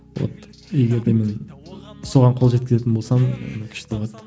вот егер де мен соған қол жеткізетін болсам күшті болады